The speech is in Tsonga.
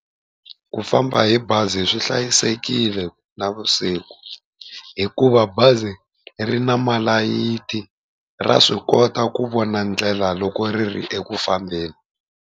Ku famba hi bazi swi hlayisekile na vusiku, hikuva bazi ri na malayithi ra swi kota ku vona ndlela loko ri ri eku fambeni.